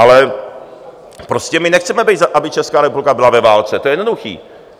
Ale prostě my nechceme, aby Česká republika byla ve válce, to je jednoduché.